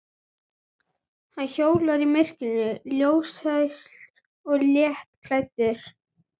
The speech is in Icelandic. Hann hjólar í myrkrinu, ljóslaus og léttklæddur.